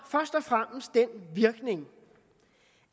den virkning